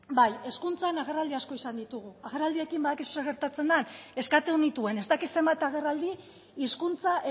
bai hezkuntzan agerraldi asko izan ditugu agerraldiekin badakizu zer gertatzen den eskatu nituen ez dakit zenbat agerraldi hizkuntza